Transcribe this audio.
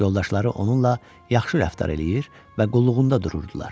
Yoldaşları onunla yaxşı rəftar eləyir və qulluğunda dururdular.